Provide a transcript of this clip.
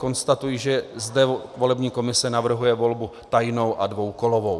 Konstatuji, že zde volební komise navrhuje volbu tajnou a dvoukolovou.